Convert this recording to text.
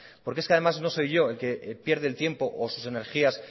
además no soy yo el que pierde el tiempo o sus energías